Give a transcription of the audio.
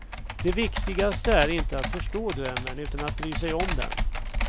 Det viktigaste är inte att förstå drömmen, utan att bry sig om den.